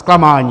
Zklamání.